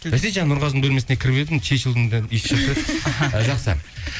бәсе жаңа нұрғазының бөлмесіне кіріп едім чечилдың иісі шығып тұр еді жақсы